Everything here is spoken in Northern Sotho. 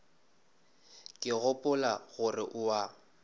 ke gopola gore o a